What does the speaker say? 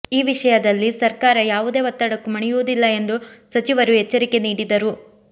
ಈ ವಿಷಯದಲ್ಲಿ ಸರ್ಕಾರ ಯಾವುದೇ ಒತ್ತಡಕ್ಕೂ ಮಣಿಯುವುದಿಲ್ಲ ಎಂದು ಸಚಿವರು ಎಚ್ಚರಿಕೆ ನೀಡಿದರು